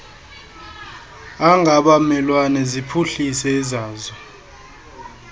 angabamelwane ziphuhlise ezazo